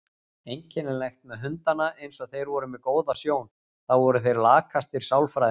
Einkennilegt með hundana eins og þeir voru með góða sjón, þá voru þeir lakastir sálfræðingar.